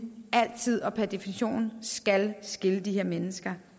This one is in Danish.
altid og per definition skal skille de her mennesker